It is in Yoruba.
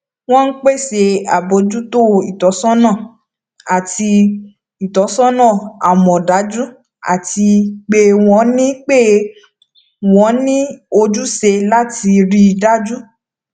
wọn n pese abojuto itọsọna ati itọsọna amọdaju ati pe wọn ni pe wọn ni ojuse lati rii daju